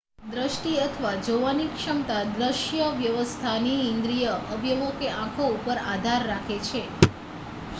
દ્રષ્ટિ અથવા જોવાની ક્ષમતા દ્રશ્ય વ્યવસ્થાની ઇન્દ્રીય અવયવો કે આંખો ઉપર આધાર રાખે છે